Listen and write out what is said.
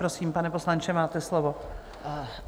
Prosím, pane poslanče, máte slovo.